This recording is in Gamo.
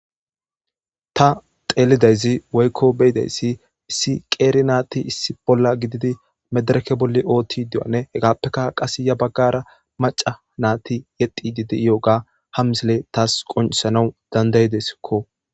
Ta xeelidayzi woykko beyidayssi issi qeeri naati issi bolla gididi medereke bolli ootti du7anne hegaappeka qase ya baggara maca naati yexi diidi yo7oga hamsile taas qonisanawu dandayideskko.